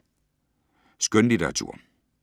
Skønlitteratur